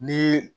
Ni